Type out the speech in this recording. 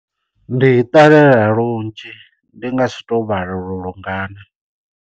Ndi i ṱalela lunzhi. Ndi nga si to vhala uri lungana.